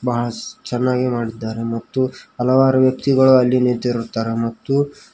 us ಚೆನ್ನಾಗಿ ಮಾಡಿದ್ದಾರೆ ಮತ್ತು ಹಲವಾರು ವ್ಯಕ್ತಿಗಳು ಅಲ್ಲಿ ನಿಂತಿರುತ್ತಾರೆ ಮತ್ತು--